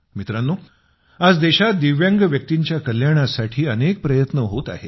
मित्रांनो आज देशात दिव्यांग व्यक्तींच्या कल्याणासाठी अनेक प्रयत्न होत आहेत